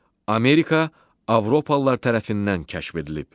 Amerika Avropalılar tərəfindən kəşf edilib.